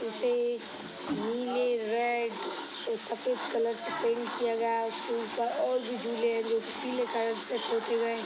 नीचे नीले रेड और सफ़ेद कलर से पेंट किया गया है उसके ऊपर और भी झूले हैं जो की पीले कलर से पोते गए हैं।